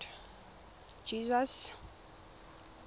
jesus